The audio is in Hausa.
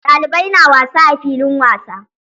Ɗalibai na wasa a filin wasa.